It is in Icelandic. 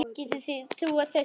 Getið þið trúað þessu?